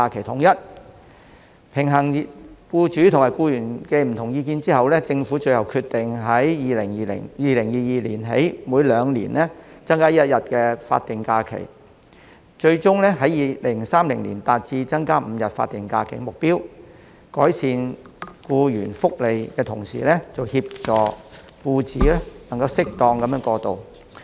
在平衡僱主和僱員的不同意見後，政府最後決定由2022年起，每兩年增加一天法定假期，以期在2030年達致增加5天法定假期的目標，以改善僱員福利，同時協助僱主能夠適當過渡。